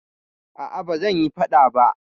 Aa, ba zanyi faɗa ba